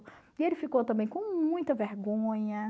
E ele ficou também com muita vergonha.